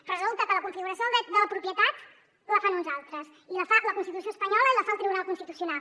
però resulta que la configuració del dret de la propietat la fan uns altres i la fa la constitució espanyola i la fa el tribunal constitucional